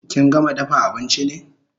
Kin gama dafa abinchi ne?